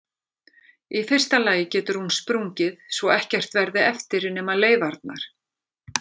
Í fyrsta lagi getur hún sprungið svo ekkert verði eftir nema leifarnar.